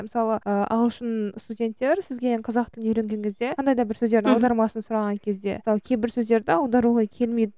мысалы ы ағылшын студенттер сізден қазақ тілін үйренген кезде қандай да бір сөздердің аудармасын сұраған кезде мысалы кейбір сөздерді аударуға келмейді